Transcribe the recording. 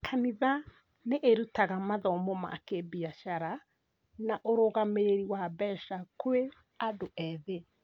Kanitha nĩ irutaga mathomo ma kĩbiacara na ũrũgamĩrĩri wa mbeca kwĩ andũ ethĩ.